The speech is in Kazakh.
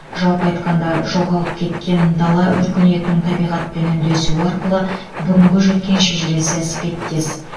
жалпы айтқанда жоғалып кеткен дала өркениетінің табиғатпен үндесуі арқылы бүгінге жеткен шежіресі іспеттес